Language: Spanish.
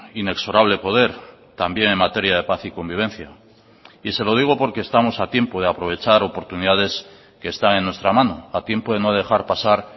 inexorable poder también en materia de paz y convivencia y se lo digo porque estamos a tiempo de aprovechar oportunidades que están en nuestra mano a tiempo de no dejar pasar